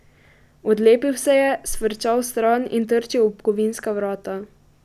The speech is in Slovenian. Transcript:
Odlepil se je, sfrčal stran in trčil ob kovinska vrata.